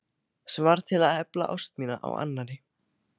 Sem varð til að efla ást mína á annarri.